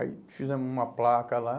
Aí fizemos uma placa lá.